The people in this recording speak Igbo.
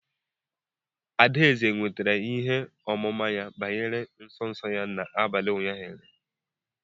Adaeze nwetara ihe ọmụma banyere nsọ nsọ ya n'abalị ụnyaahụ.